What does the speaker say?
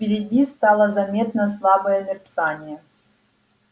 впереди стало заметно слабое мерцание